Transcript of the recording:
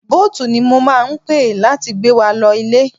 Boat ni mo máa pe láti gbé wa lọ ilé.